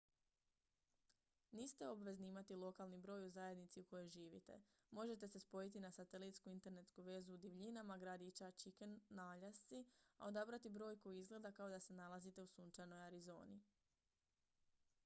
niste obvezni imati lokalni broj u zajednici u kojoj živite možete se spojiti na satelitsku internetsku vezu u divljinama gradića chicken na aljasci a odabrati broj koji izgleda kao da se nalazite u sunčanoj arizoni